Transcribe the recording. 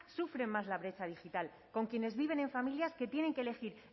sufren más la brecha digital con quienes viven en familias que tienen que elegir